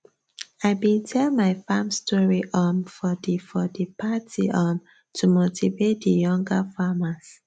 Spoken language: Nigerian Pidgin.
i bin tell my farm story um for di for di party um to motivate di younger farmers